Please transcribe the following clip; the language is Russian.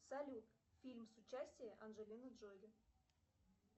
салют фильм с участием анджелины джоли